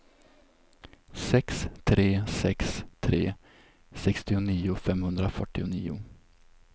sex tre sex tre sextionio femhundrafyrtionio